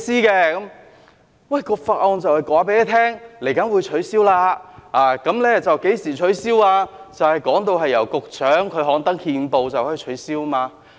這項法案就是有關稍後會取消收費及何時取消，由局長刊登憲報，便可以取消。